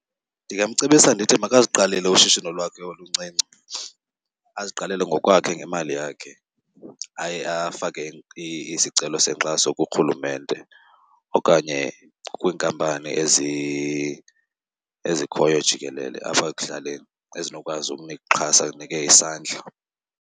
Ndingamcebisa ndithi makaziqalele ushishino lwakhe oluncinci, aziqalele ngokwakhe ngemali yakhe. Aye afake isicelo senkxaso kuRhulumente okanye kwiinkampani ezikhoyo jikelele apha ekuhlaleni ezinokwazi ukunixhasa zinike isandla.